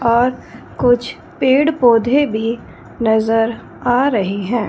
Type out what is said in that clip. और कुछ पौधे भी आ रहें हैं।